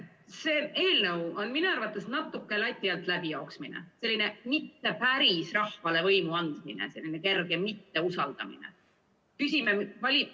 See eelnõu on minu arvates natuke lati alt läbi jooksmine, selline mitte päris rahvale võimu andmine, selline kerge mitteusaldamine.